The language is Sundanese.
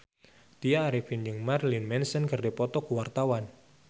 Tya Arifin jeung Marilyn Manson keur dipoto ku wartawan